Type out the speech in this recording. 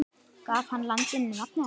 Gaf hann landinu nafnið Ísland.